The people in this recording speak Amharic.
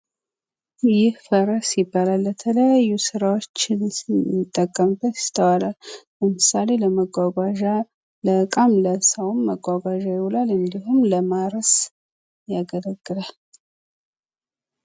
ይህ ፈረስ ይባላል። ለተለያዩ ስራዎች ሲጠቀሙበት ይስተዋላል። ለምሳሌ ለመጓጓዣ፣ ለእቃም ለሰዎም መጓጓዣ ይውላል። ወይም ደግሞ ለማረስ ያገላግላል።